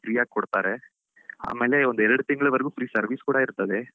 Free ಆಗಿ ಕೊಡ್ತಾರೆ, ಆಮೇಲೆ ಒಂದೆರಡು ತಿಂಗಳವರೆಗೂ free service ಕೂಡಾ ಇರ್ತದೆ.